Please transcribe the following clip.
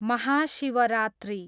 Mahashivratri